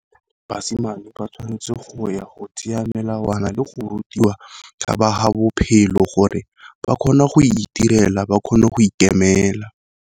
Basimane ba tshwanetse go ya go tseya melawana le go rutiwa, ka ba ha bophelo gore ba kgone go itirela ba kgone go ikemela.